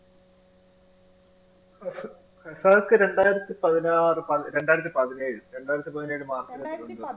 വഫ് വഫാത്ത് രണ്ടായിരത്തി പതിനാറ്, രണ്ടായിരത്തി പതിനേഴിൽ രണ്ടായിരത്തി പതിനേഴ് march